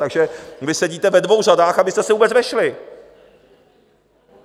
Takže vy sedíte ve dvou řadách, abyste se vůbec vešli.